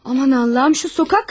Aman Allahım, şu küçə qadını mı?